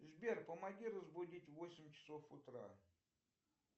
сбер помоги разбудить в восемь часов утра